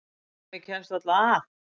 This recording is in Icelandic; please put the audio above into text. Hemmi kemst varla að.